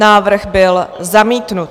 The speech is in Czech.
Návrh byl zamítnut.